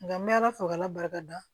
Nka n bɛ ala fo k' ala barikada